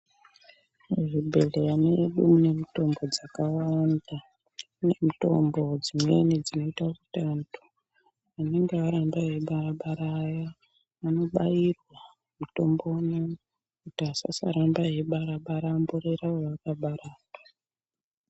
Muzvibhedhleya medu mune mitombo dzakawanda mube mitombo dzimweni dzinoita kuti wandu anenge aramba eyimbai bara aya vanobayirwa mitombo umweni kuti asasaramba eyibara bara amborera vaakabara ava.